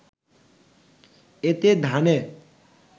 এতে ধানে